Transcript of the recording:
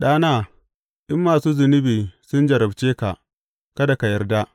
Ɗana, in masu zunubi sun jarabce ka, kada ka yarda.